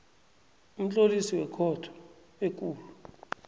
umtlolisi wekhotho ekulu